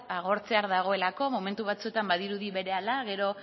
agortzear dagoelako momentu batzuetan badirudi berehala gero